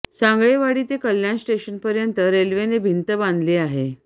सांगळेवाडी ते कल्याण स्टेशन पर्यंत रेल्वेने भिंत बांधली आहे